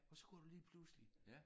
Og så kunne du lige pludselig